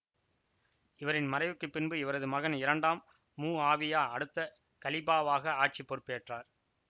இவரின் மறைவுக்கு பின்பு இவரது மகன் இரண்டாம் முஆவியா அடுத்த கலீபாவாக ஆட்சி பொறுப்பேற்றார்